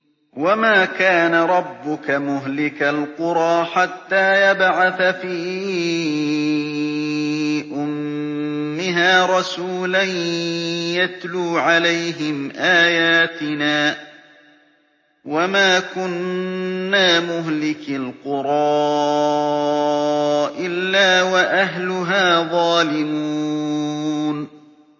وَمَا كَانَ رَبُّكَ مُهْلِكَ الْقُرَىٰ حَتَّىٰ يَبْعَثَ فِي أُمِّهَا رَسُولًا يَتْلُو عَلَيْهِمْ آيَاتِنَا ۚ وَمَا كُنَّا مُهْلِكِي الْقُرَىٰ إِلَّا وَأَهْلُهَا ظَالِمُونَ